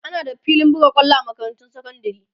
ana da filin buga kwallo a makarantun sekandari